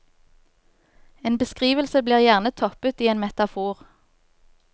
En beskrivelse blir gjerne toppet i en metafor.